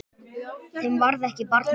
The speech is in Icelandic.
Þeim varð ekki barna auðið.